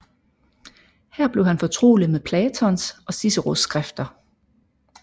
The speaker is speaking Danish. Her blev han fortrolig med Platons og Ciceros skrifter